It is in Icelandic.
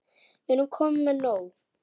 Við erum komin með nóg.